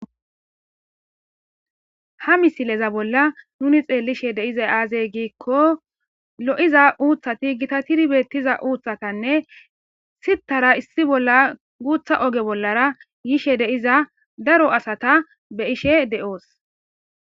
ha misileza bolla nuni xeellishe deize aazey giikko lo7iza uuthati gita tiri beettiza uuthatanne sittara issi bolla guutha oge bollara yishe deiza daro asata be ishe de7oos